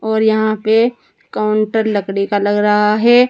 और यहाँ पे काउंटर लकड़ी का लग रहा है।